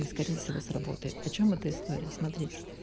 и скорее всего сработает о чем эта история смотрите